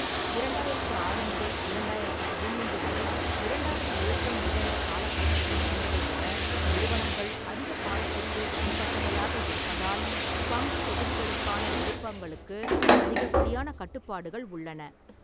இரண்டாயிரத்து ஆறு முதல் இரண்டாயிரத்து பதின்மூன்று வரை இரண்டாவது ஏற்றம் நிகழ்ந்த காலகட்டத்தில் இருந்ததைவிட நிறுவனங்கள் அதிகக் காலத்திற்கு தனிப்பட்டவையாக இருப்பதால் பங்குத் தொகுதிகளுக்கான விருப்பங்களுக்கு அதிகப்படியான கட்டுப்பாடுகள் உள்ளன.